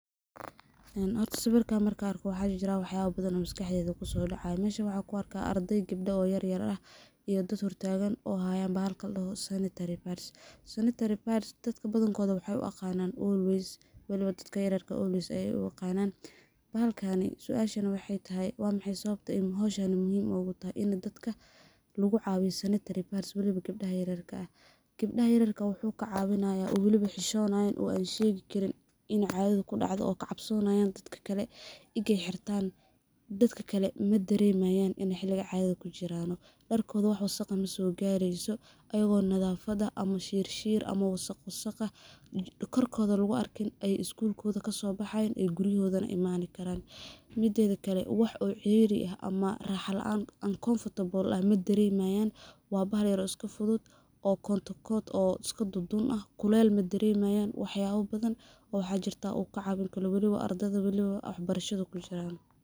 Horta sawirkan markan arko waxaa jiraah wax yaba bathan maskaxdeyda kusodacayo, meshan waxaan kuarkah ardey gebda ah oo yaryar ah iyo dad hortagan oo hayan bahalka ladoho sanitary pads . sanitary pads dadka badankodha waxaay u yaqanan always, waliba dadka yaryarka ah always ayay u aqanan. Bahalkani, suashani waxaay tahay wa maxay sababta ay howshan muhim ugu tahay dadka ini lugucawiyo sanitary pads weliba gabdaha yaryarka ah. Gebdaha yaryarka ah wuxuu kacawinayaa oo weliba xishonayan oo an shegi karin inu cadadha kudacdhe oo kacobsanayan dadka kale egay xirtan, dadka kale madaremayan ini xiliga cadadha kujiran, darkotha wax wasaq eh masogareyso ayago nadafada ama shirshir ama wasaq wasaq korkotha luguarkin ay skulkodha kasobaxayan ay gurigodhana imani karan, midedha kale wax oo ciyari ah ama raxa laan uncomfortable ah madaremayan, wa bahal yar oo iskafudfudud oo iska dundun ah kulel madaremayan, wax yaba bathan oo waxaa jirtah uu kacawin karo weliba ardadha weliba wax barashada kujiraan.